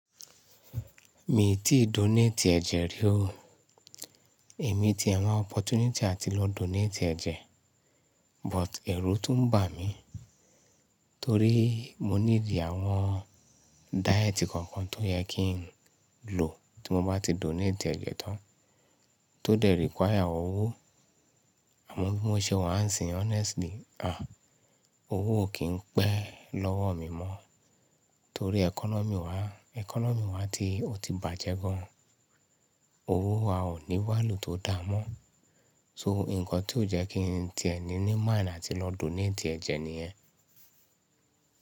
Mi ò tíì donate ẹ̀jẹ̀ rí o. Èmi ti n wabopportunity àti lọ donate ẹ̀jẹ̀, but èrò tún ń bà mí torí mo ní ìdí àwọn diet kan kan tó yẹ kí n lò tí mo bá ti donate ẹ̀jẹ̀ tán, tó dẹ require àwọn owó. Àmọ́ bí mo ṣe wà ń sìn honestly, à, owó ò kí ń pẹ́ lọ́wọ́ mi mọ́ torí economy wa, economy wa ti ò ti bàjẹ́ gan. Owó a ò ní wá lò tó da mọ́. So nǹkan tí ó jẹ́ kí n ti ẹ̀ ní ní mind àti lọ donate ẹ̀jẹ̀ nìyẹn.